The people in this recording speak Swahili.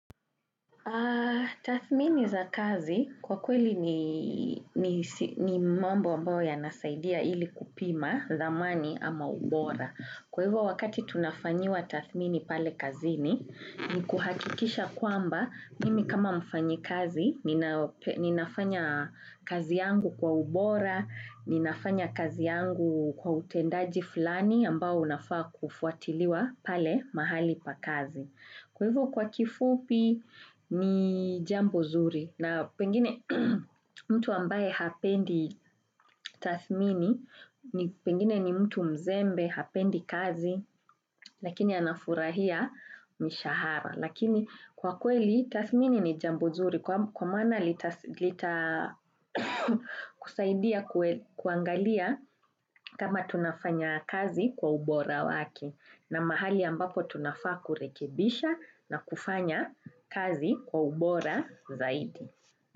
Tathmini za kazi kwa kweli ni mambo ambayo yanasaidia ili kupima thamani ama ubora. Kwa hivyo wakati tunafanyiwa tathmini pale kazini ni kuhakikisha kwamba mimi kama mfanyikazi ninafanya kazi yangu kwa ubora, ninafanya kazi yangu kwa utendaji fulani ambao unafaa kufuatiliwa pale mahali pa kazi. Kwa hivyo kwa kifupi ni jambo zuri na pengine mtu ambaye hapendi tathmini, pengine ni mtu mzembe hapendi kazi lakini anafurahia mishahara. Lakini kwa kweli tathmini ni jambo zuri kwa maana lita kusaidia kuangalia kama tunafanya kazi kwa ubora wake na mahali ambapo tunafaa kurekebisha na kufanya kazi kwa ubora zaidi.